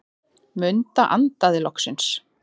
Munda andaði loksins.